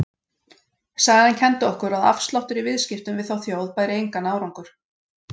Sagan kenndi okkur að afsláttur í viðskiptum við þá þjóð bæri engan árangur.